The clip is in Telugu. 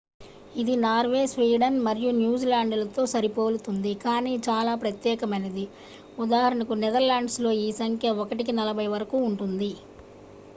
ఇది నార్వే స్వీడన్ మరియు న్యూజిలాండ్లతో సరిపోలుతుంది కానీ చాలా ప్రత్యేకమైనది ఉదా నెదర్లాండ్స్లో ఈ సంఖ్య ఒకటికి నలభై వరకు ఉంటుంది